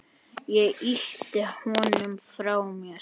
Ég ýtti honum frá mér.